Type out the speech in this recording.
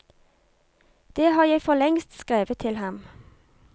Det har jeg forlengst skrevet til ham.